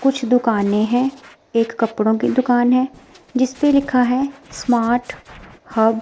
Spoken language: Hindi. कुछ दुकानें है एक कपड़ों की दुकान है जिसपे लिखा है स्मार्ट हब --